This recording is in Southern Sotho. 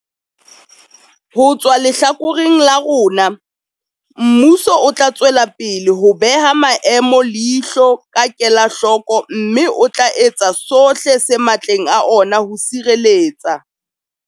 Ho tswa lehlakoreng la rona, mmuso o tla tswelapele ho beha maemo leihlo ka kelahloko mme o tla etsa sohle se matleng a ona ho sireletsa.